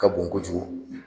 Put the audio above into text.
Ka bon kojugu